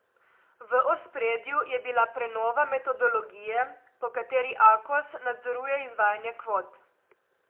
V ospredju je bila prenova metodologije, po kateri Akos nadzoruje izvajanje kvot.